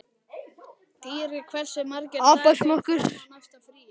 Dýri, hversu margir dagar fram að næsta fríi?